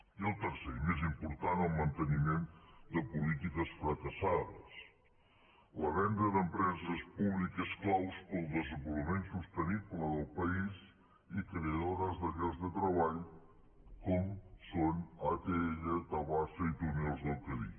i el tercer i més important el manteniment de polítiques fracassades la venda d’empreses públiques clau per al desenvolupament sostenible del país i creadores de llocs de treball com són atll tabasa i túnels del cadí